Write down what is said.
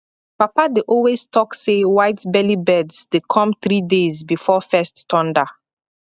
papa dey always talk say whitebelly birds dey come three days before first thunder